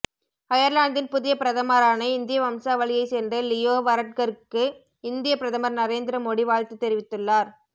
அயர்லாந்தின் புதிய பிரதமரான இந்திய வம்சாவளியைச் சேர்ந்த லியோ வரட்கருக்கு இந்திய பிரதமர் நரேந்திர மோடி வாழ்த்து தெரிவித்துள்ளார்